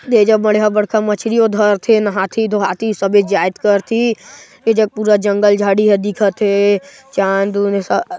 दे जग बड़का-बड़का मछरियों धर थे नहा धोहाथे सब एजजात करती एजग पूरा जंगल झाड़ी ह दिखा थे चाँद उंद सब--